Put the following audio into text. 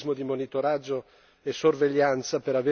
e sorveglianza per avere confini più sicuri.